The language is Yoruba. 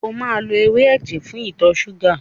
O máa lo ewé ẹ̀jẹ̀ fún ìtọ ṣúgà.